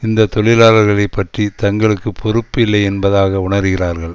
இந்த தொழிலாளர்களை பற்றி தங்களுக்கு பொறுப்பு இல்லை என்பதாக உணர்கிறார்கள்